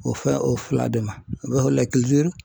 O fɛn o fila de ma